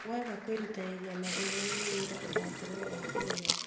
Waga kwĩrutanĩria mathomo-inĩ wĩra ũgakorwo wĩ wakũrĩma